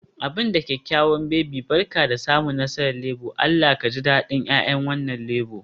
Abin da kyakkyawa baby, Barka da samun nasarar Labour, Allah ka ji dadin 'ya'yan wannan Labour